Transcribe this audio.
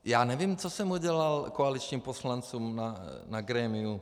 Já nevím, co jsem udělal koaličním poslancům na grémiu.